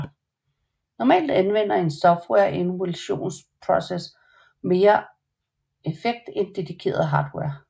Normalt anvender en software emulations proces mere effekt end dedikeret hardware